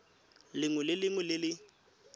lengwe le lengwe le le